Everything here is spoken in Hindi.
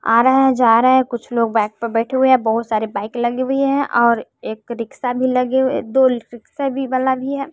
आ रहा है-जा रहा है कुछ लोग बेएक पे बैठे हुए हैं बहोत सारे बाइक लगी हुई है और एक रिक्सा भी लगे हुए दो रिक्सा भी वाला भी है।